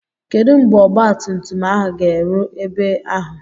Kedu mgbe ọgba tum tum ahụ ga-eru ebe ahụ?